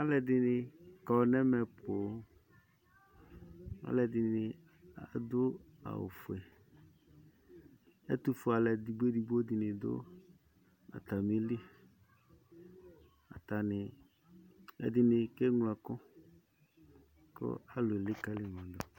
Alʋɛdɩnɩ kɔ nʋ ɛmɛ poo. Alʋɛdɩnɩ adʋ awʋfue. Ɛtʋfuealʋ edigbo edigbo dʋ atamɩli. Atanɩ, ɛdɩnɩ keŋlo ɛkʋ kʋ alʋ elikǝli ma dʋ.